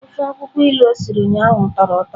Ofe akwụkwọ ilu o siri ụnyahụ tọrọ ụtọ.